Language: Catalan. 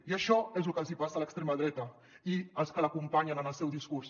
i això és lo que els hi passa a l’extrema dreta i als que l’acompanyen en el seu discurs